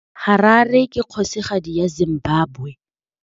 Harare ke kgosigadi ya Zimbabwe.